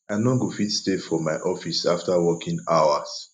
i no go fit stay for my office after working hours